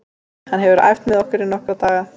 Hann hefur æft með okkur í nokkra daga.